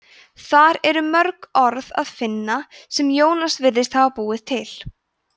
þar er mörg orð að finna sem jónas virðist hafa búið til